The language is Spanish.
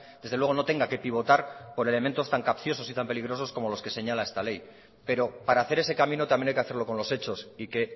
desde luego no tenga que pivotar por elementos tan capciosos y tan peligrosos como los que señala esta ley pero para hacer ese camino también hay que hacerlo con los hechos y que